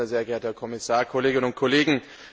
Sehr geehrter Herr Kommissar, Kolleginnen und Kollegen!